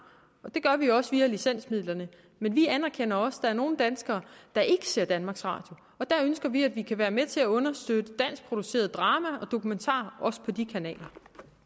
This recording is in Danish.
og det gør vi også via licensmidlerne men vi anerkender også at der er nogle danskere der ikke ser danmarks radio og der ønsker vi at vi kan være med til at understøtte danskproduceret drama og dokumentar også på de kanaler